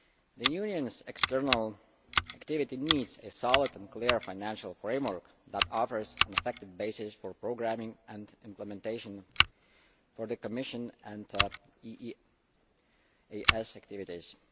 The Union's external activity needs a solid and clear financial framework that offers an effective basis for programming and implementation for the Commission EEAS activities.